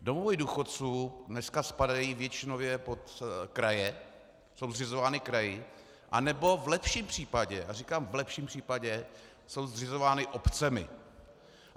Domovy důchodců dneska spadají většinově pod kraje, jsou zřizovány kraji, nebo v lepším případě, a říkám v lepším případě, jsou zřizovány obcemi.